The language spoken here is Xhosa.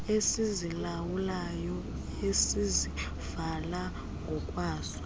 esizilawulayo esizivala ngokwaso